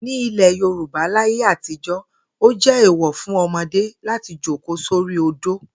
Ní ilè̩ Yorùbá láyé àtijó̩, ó jé̩ èèwò̩ fún o̩mo̩dé láti jókòó sórí odó